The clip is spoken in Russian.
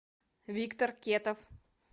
виктор кетов